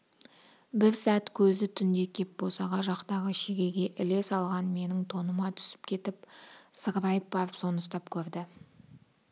бір сәт көзі түнде кеп босаға жақтағы шегеге іле салған менің тоныма түсіп кетіп сығырайып барып соны ұстап көрді